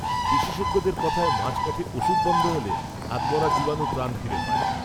বিশেষজ্ঞদের কথায় মাঝ, পথে, ওষুধ বন্ধ হলে, আধমরা জীবাণু প্রাণ ফিরে পায়